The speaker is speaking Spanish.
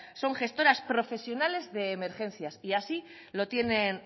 son gestoras profesionales de emergencias y así lo tienen